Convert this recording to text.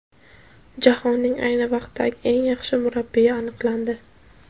Jahonning ayni vaqtdagi eng yaxshi murabbiyi aniqlandi.